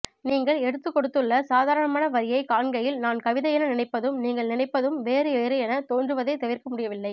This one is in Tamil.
நீங்கள் எடுத்துக்கொடுத்துள்ள சாதாரணமான வரியைக் காண்கையில் நான் கவிதையென நினைப்பதும் நீங்கள் நினைப்பதும் வேறு வேறு எனத் தோன்றுவதைத் தவிர்க்கமுடியவில்லை